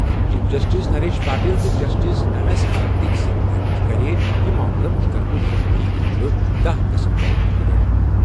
Chief justice Naresh Patil تہٕ justice M S Karnik سٕنٛدِ bench کٔر یہِ معاملہٕ مُشترکہٕ شُنوٲیی خٲطرٕ دہَ دسمبر مُقرر۔